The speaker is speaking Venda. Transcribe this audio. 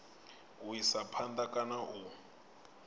u isa phanda kana u